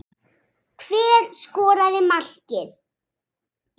Hver skoraði markið?